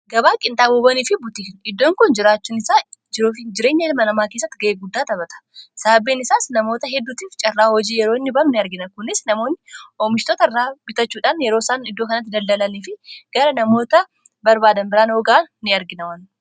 gabaa qinxaamubanii fi butiin iddoon kun jiraachuun isaa jireenya ilma namaa keessatti ga'ee guddaa tabata sababbiin isaas namoota heddutiif carraa hojii yeroonni balu n argina kunis namoonni oomishtota irraa bitachuudhaan yeroo isaan iddoo kanatti daldalalii fi gara namoota barbaadan biraan oogaa ni arginawan